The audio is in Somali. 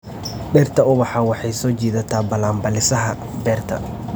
Dhirta ubaxa waxay soo jiidataa balanbaalisaha beerta.